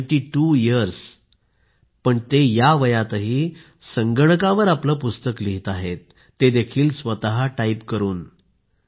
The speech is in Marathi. नाइनेटी त्वो यर्स ते या वयातही संगणकावर आपले पुस्तक लिहीत आहेत ते देखील स्वतःच टाईप करून